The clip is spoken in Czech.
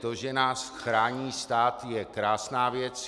To, že nás chrání stát, je krásná věc.